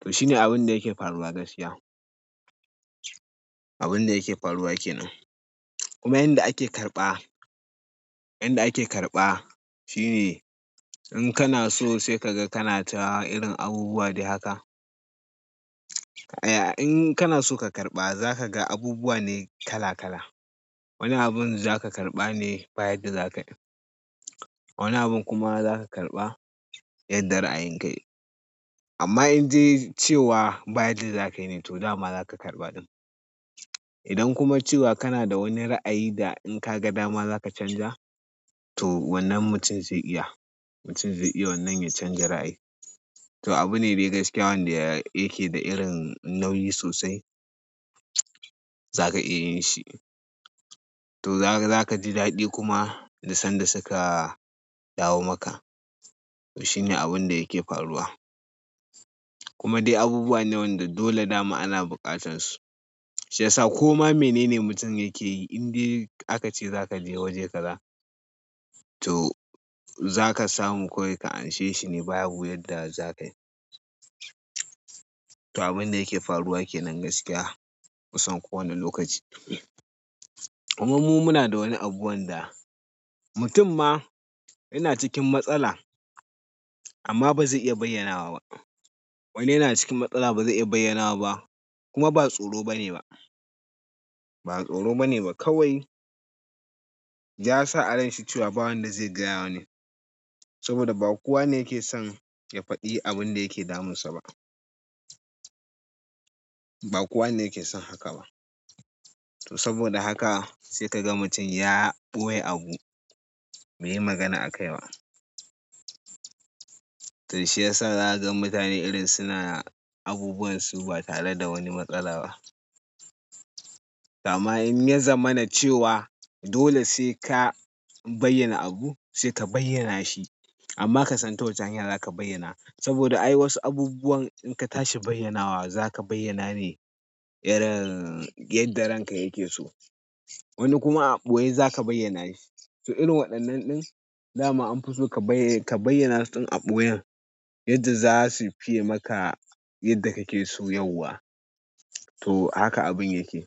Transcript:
To shine abun da yake faruwa gaskiya. Abun da yake faruwa ke nan. Kuma inda ake karɓa, inda ake karɓa shine in kana so sai ka ga kana ta irin abubuwa dai haka. Aya in kana so ka karɓa za ka ga abubuwa ne kala kala. Wani abun za ka karɓa ne ba yadda zakayi. Wani abun kuma za ka karɓa yadda ra'ayin kai. Amma in dai cewa bayadda zakayi ne to dama za ka karɓa ɗin. Idan kuma cewa kana da wani ra'ayi da in ka ga dama za ka canja, to wannan mutum zai iya. Mutum zai iya wannan ya canja ra'ayi. To abu ne dai gaskiya wanda yake da irin nauyi sosai. Zaka iya yin shi. To za ka ji daɗi kuma da sanda suka dawo maka. To shine abun da yake faruwa. Kuma dai abubuwa ne wanda dole dama ana buƙatan su. Shi yasa koma menene mutum yake yi in dai aka ce za ka je waje kaza, to za ka samu kawai ka anshe shi ne babu yadda za ka yi. To abun da yake faruwa yake nan gaskiya kusan kowane lokaci. Kuma mu muna da wani abu wanda mutum ma yana cikin matsala amma ba zai iya bayyanawa ba. Wani yana cikin matsala ba zai iya bayyana ba kuma ba tsoro bane ba. Ba tsoro bane ba kawai ya sa a ranshi cewa ba wanda zai gaya wa ne saboda ba kowane yake son ya faɗi abin da yake damun sa ba. Ba kowane yake son haka ba. To saboda haka sai ka ga mutum ya ɓoye abu bai yi magana a kai ba. To shi yasa za ka ga mutane irin suna abubunsu ba tare da wani matsala ba. To amma in ya zamana cewa dole sai ka bayyana abu sai ka bayyana shi. Amma ka san ta wace hanya za ka bayyana saboda ai wasu abubuwan in ka tashi bayyanawa za ka bayyana ne irin yadda ranka yake so. Wani kuma aɓoye za ka bayyana shi. To irin waɗannan ɗin dama an fi so ka bayyana su ɗin aɓo yan yadda za su fiye maka yadda kake so yauwa. To haka abun yake.